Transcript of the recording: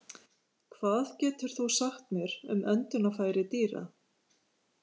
Hvað getur þú sagt mér um öndunarfæri dýra?